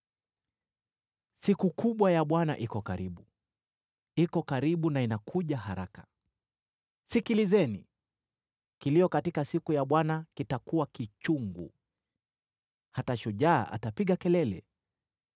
“Siku kubwa ya Bwana iko karibu: iko karibu na inakuja haraka. Sikilizeni! Kilio katika siku ya Bwana kitakuwa kichungu, hata shujaa atapiga kelele.